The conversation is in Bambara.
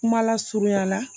Kuma lasurunya la